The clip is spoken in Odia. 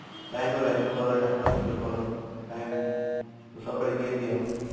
time ର value କର time ର value କର ଆଉ time ସବୁବେଳେ ଇଏ ଦିଅ